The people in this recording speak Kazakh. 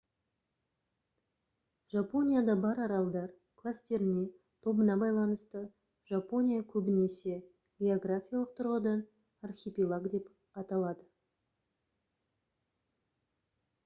жапонияда бар аралдар кластеріне/тобына байланысты жапония көбінесе географиялық тұрғыдан «архипелаг» деп аталады